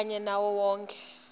kanye nawo onkhe